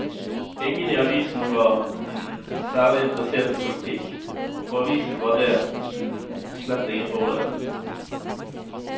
Ingen i avisen var særlig interessert i politikk, og for avisen var det slett ingen fordel.